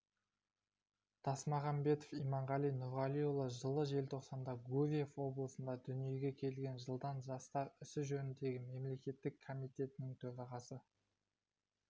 тасмағамбетов иманғали нұрғалиұлы жылы желтоқсанда гурьев облысында дүниеге келген жылдан жастар ісі жөніндегі мемлекеттік комитетінің төрағасы